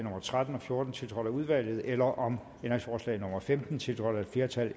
tretten og fjorten tiltrådt af udvalget eller om ændringsforslag nummer femten tiltrådt af et flertal